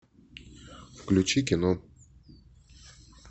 включи кино